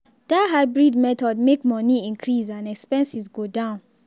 that hybrid method make money increase and expenses go down.